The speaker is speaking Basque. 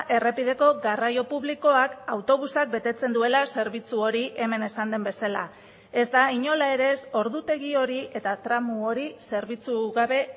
errepideko garraio publikoak autobusak betetzen duela zerbitzu hori hemen esan den bezala ez da inola ere ez ordutegi hori eta tramu hori zerbitzu gabe